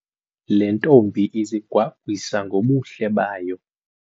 Le ntombi izigwagwisa ngobuhle bayo.